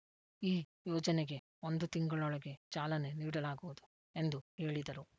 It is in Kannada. ಈ ಯೋಜನೆಗೆ ಒಂದು ತಿಂಗಳೊಳಗೆ ಚಾಲನೆ ನೀಡಲಾಗುವುದು ಎಂದು ಹೇಳಿದರು